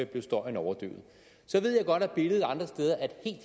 blev støjen overdøvet så ved jeg godt at billedet andre steder er